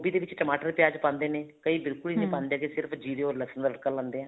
ਦੇ ਵਿੱਚ ਟਮਾਟਰ ਪਿਆਜ ਪਾਂਦੇ ਨੇ ਕਈ ਬਿਲਕੁਲ ਹੀ ਨਹੀਂ ਪਾਂਦੇ ਕੀ ਸਿਰਫ਼ ਜੀਰੇ or ਲਸਣ ਦਾ ਤੜਕਾ ਲਾਉਦੇ ਆ